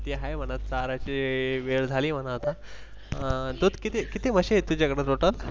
ही आहे म्हणा चाराची वेळ झाली म्हणा आता किती-किती म्हशी आहे तुझ्याकडे Total?